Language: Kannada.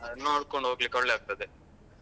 ನೋಡ್ಕೊಂಡ್ ಹೋಗ್ಲಿಕ್ಕೋಳ್ಳೆ ಆಗ್ತದೆ.